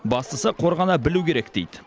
бастысы қорғана білу керек дейді